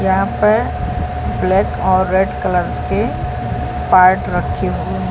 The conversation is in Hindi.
यहाँ पर ब्लैक और रेड कलर्स के पार्ट रखे हुए --